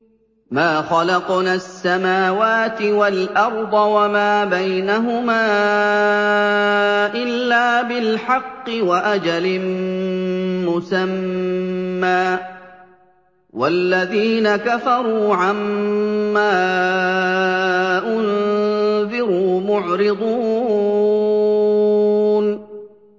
مَا خَلَقْنَا السَّمَاوَاتِ وَالْأَرْضَ وَمَا بَيْنَهُمَا إِلَّا بِالْحَقِّ وَأَجَلٍ مُّسَمًّى ۚ وَالَّذِينَ كَفَرُوا عَمَّا أُنذِرُوا مُعْرِضُونَ